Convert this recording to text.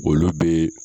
Olu bɛ